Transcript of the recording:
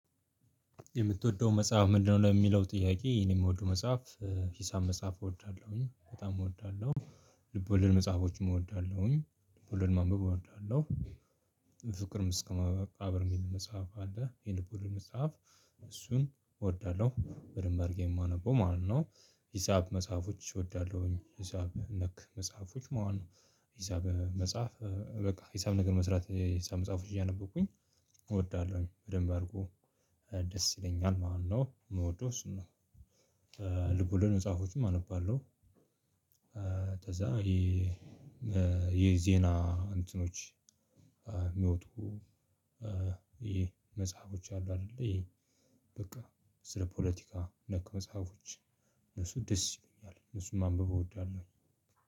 የምትወደው መጽሐፍ ምንድን ነው? ለሚለው ጥያቄ የኔ የምወደው መጽሐፍ ሂሳብ መጽሐፍ እወዳለሁኝ በጣም እወዳለሁ። ልብ ወለድ መጽሐፎችም እወዳለሁኝ ልብ ወለድ ማንበብ እወዳለሁ። ፍቅር እስከ መቃብር ሚል መጽሐፍ አለ የልብ ወለድ መጽሐፍ። እሱን እወዳለሁ በድንብ አርጌ የማነበው ማለት ነው። ሂሳብ መጽሐፎች እወዳለሁኝ ሂሳብ ነክ መጽሐፎች ማለት ነው። ሂሳብ መጽሐፍ በቃ ሂሳብ ነገር መስራት የሂሳብ መጽሐፎች እያነበብኩኝ እወዳለሁኝ በደንብ አድርጎ። ደስ ይለኛል ማለት ነው የምወደው እሱ ነው። ልቡ ወለድ መጽሃፎችም አነባለሁ። ከዛ ይሄ የዜና እንትኖች የሚወጡ መጽሐፎች አሉ አይደለ ይሄ በቃ ስለ ፖለቲካ ነክ መጽሐፎች። እነሱ ደስ ይሉኛል እነሱን ማንበብ እወደዋለሁ።